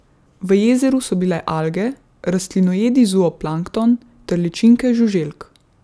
V jezeru so bile alge, rastlinojedi zooplankton ter ličinke žuželk.